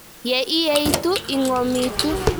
Ye ietuu ii ng'omituu.